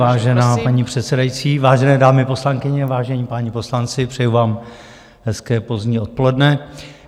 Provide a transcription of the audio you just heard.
Vážená paní předsedající, vážené dámy, poslankyně, vážení páni poslanci, přeji vám hezké pozdní odpoledne.